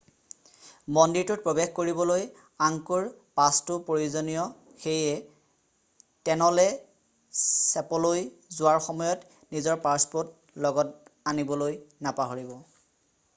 মন্দিৰটোত প্ৰৱেশ কৰিবলৈ আংকোৰ পাছটো প্ৰয়োজনীয় সেয়ে ট'নলে ছেপলৈ যোৱাৰ সময়ত নিজৰ পাছপৰ্ট লগত আনিবলৈ নাপাহৰিব